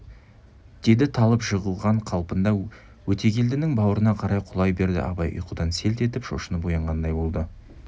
деді талып жығылған қалпында өтегелдінің бауырына қарай құлай берді абай ұйқыдан селт етіп шошынып оянғандай болды